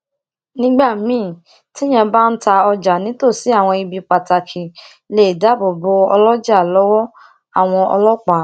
nígbà míì téèyàn bá ń ta ọjà nítòsí àwọn ibi pataki lè dáàbò bò óloja lówó àwọn ọlópàá